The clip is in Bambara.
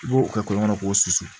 I b'o kɛ kɔlɔn kɔnɔ k'o susu